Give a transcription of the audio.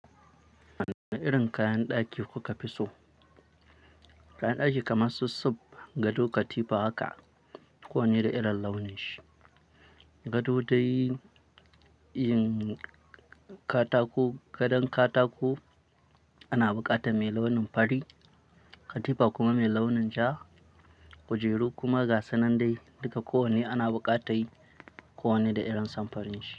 Wane irin kayan ɗaki kuka fi so? Kayan ɗaki kamar su sub, gado, katifa haka ko wanne da irin launin shi. Gado dai yin katako, gadon katako ana buƙata mai launin fari. Katifa kuma mai launin ja, kujeru kuma gasan nan dai duka kowanne ana buƙata yi kowanne da irin samfurin shi.